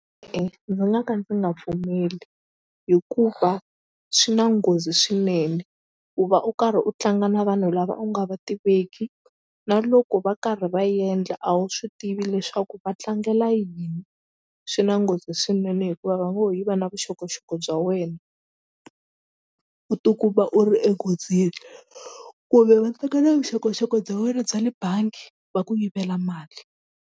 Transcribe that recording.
ndzi nga ka ndzi nga pfumeli hikuva swi na nghozi swinene ku va u karhi u tlanga na vanhu lava u nga va tiveki na loko va karhi va endla a wu swi tivi leswaku va tlangela yini swi na nghozi swinene hikuva va ngo yiva na vuxokoxoko bya wena u tikuma u ri enghozini kumbe va teka na vuxokoxoko bya wena bya le bangi va ku yivela mali.